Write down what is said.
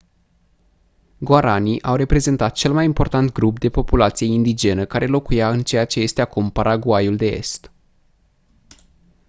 guaraní au reprezentat cel mai important grup de populație indigenă care locuia în ceea ce este acum paraguayul de est